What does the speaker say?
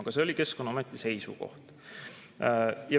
Aga selline oli Keskkonnaameti seisukoht.